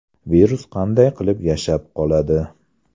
Virus qanday qilib yashab qoladi?